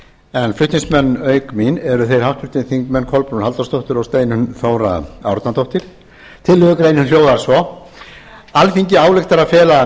en flutningsmenn auk mín eru háttvirtir þingmenn kolbrún halldórsdóttir og steinunn þóra árnadóttir tillögugreinin hljóðar svo alþingi ályktar að fela